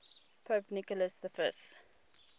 pope nicholas v